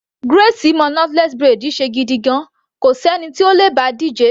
Grace mo knotless braid ṣe gidigan, kò sí ẹni tó le bá a díje.